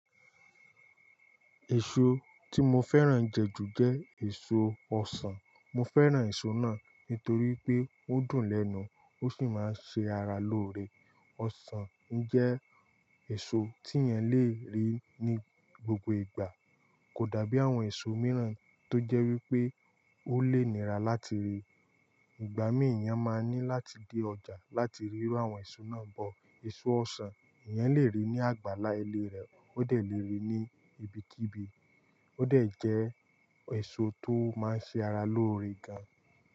Èso tí mo fẹ́ràn jẹ jù jẹ́ èso ọsàn. Mo fẹ́ràn èso náà nítorí pé ó dùn lẹ́nu, ó sì máa ń ṣe ara lóore. Ọsàn jẹ́ èso tí ẹ yan le ri ní gbogbo ìgbà, kò dàbí àwọn èso mìíràn tó jẹ́ wípé ó léè níra láti rí. Ìgbà mìíràn, eyan máa ní láti dé ọjà láti rí rú àwọn èso náà bọ̀. Èso ọsàn, eyan lè rí ní àgbàlá ilé rẹ̀, ó dà lè rí i ní ibikíbi, ó de jẹ́ èso tó máa ń ṣe ara lóore gan.